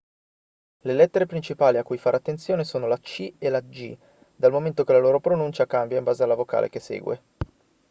le lettere principali a cui fare attenzione sono la c e la g dal momento che la loro pronuncia cambia in base alla vocale che segue